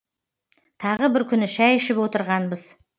тағы бір күні шәй ішіп отырғанбыз